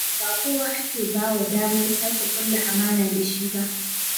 Ba kowa ake bawa damar sake ƙulla amana da shi ba.